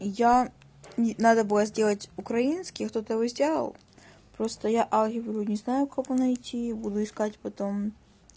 я ни надо было сделать украинский кто-то его сделал просто я алгебру не знаю у кого найти буду искать потом